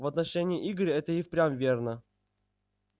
в отношении игоря это и впрямь верно